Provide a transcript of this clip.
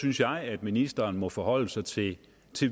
synes jeg at ministeren må forholde sig til